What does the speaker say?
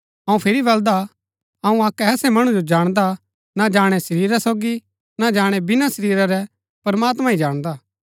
अऊँ फिरी बलदा अऊँ अक्क ऐसै मणु जो जाणदा ना जाणै शरीरा सोगी ना जाणै बिना शरीरा रै प्रमात्मां ही जाणदा हा